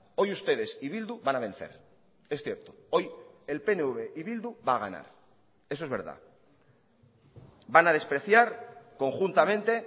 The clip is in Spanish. hoy ustedes y bildu van a vencer es cierto hoy el pnv y bildu va a ganar eso es verdad van a despreciar conjuntamente